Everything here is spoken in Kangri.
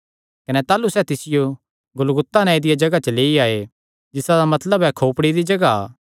कने ताह़लू सैह़ तिसियो गुलगुता नांऐ दिया जगाह च जिसा दा मतलब ऐ खोपड़ी दी जगाह ऐ तित्थु लेई आये